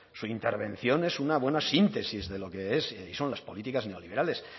su intervención es una buena síntesis de lo es y son las políticas neoliberales